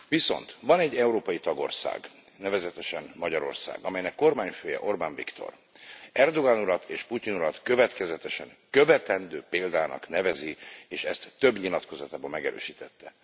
Viszont van egy európai tagország, nevezetesen Magyarország, amelynek kormányfője, Orbán Viktor Erdoğan urat és Putyin urat következetesen követendő példának nevezi, és ezt több nyilatkozatában megerősítette.